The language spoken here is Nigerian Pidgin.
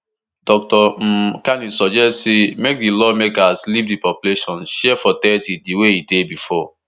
dr um kani suggest say make di lawmakers leave di population share for thirty di way e dey bifor